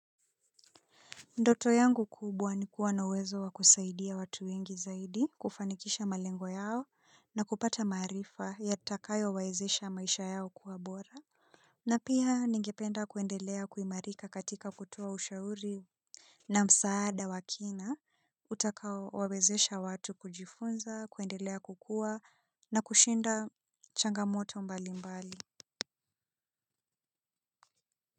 Ndoto yangu kubwa nikua na uwezo wa kusaidia watu wengi zaidi kufanikisha malengo yao na kupata maarifa yatakayo wawezesha maisha yao kuwabora na pia ningependa kuendelea kuimarika katika kutoa ushauri na msaada wakina utaka wawezesha watu kujifunza kuendelea kukua na kushinda changamoto mbali mbali. Kwa hivyo.